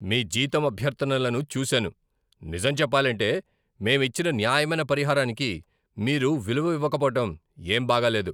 మీ జీతం అభ్యర్థనలను చూసాను, నిజం చెప్పాలంటే, మేం ఇచ్చిన న్యాయమైన పరిహారానికి మీరు విలువ ఇవ్వకపోవటం ఏం బాగాలేదు.